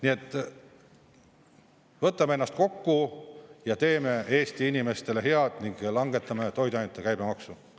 Nii et võtame ennast kokku ja teeme Eesti inimestele head ning langetame toiduainete käibemaksu.